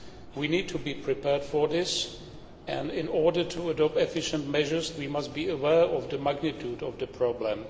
We need to be prepared for this, and in order to adopt efficient measures we must be aware of the magnitude of the problem.